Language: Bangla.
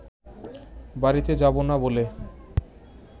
বাড়িতে যাব না বলে